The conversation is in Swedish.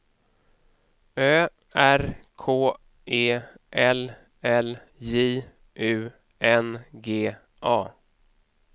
Ö R K E L L J U N G A